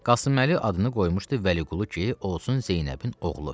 Qasım Əli adını qoymuşdu Vəliqulu ki, olsun Zeynəbin oğlu.